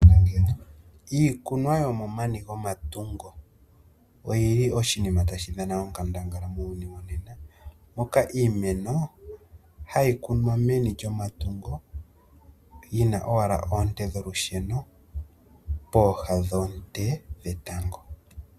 Iikunwa yomomani gwomatungo oyi li oshinima tashi dhana onkandangala muuyuni wonena moka iimeno hayi kunwa meni lyomatungo yi na owala oonte dholusheno peha dhoonte dhetango.